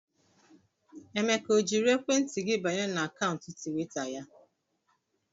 Emeka o jiri ekwentị gị banye na akaụntụ twita ya?